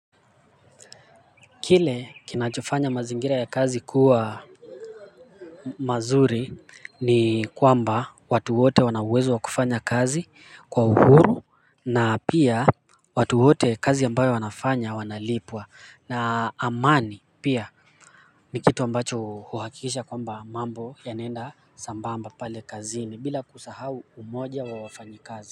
Kile kinachofanya mazingira ya kazi kuwa mazuri ni kwamba watu wote wanauwezo wa kufanya kazi kwa uhuru na pia watu wote kazi ambayo wanafanya wanalipwa na amani pia ni kitu ambacho uhakikisha kwamba mambo yanenda sambamba pale kazini bila kusahau umoja wa wafanyakazi.